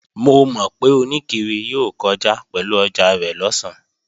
Mo mọ̀ pé oníkiri yóò kọjá pẹ̀lú ọjà rẹ̀ lọ̀sán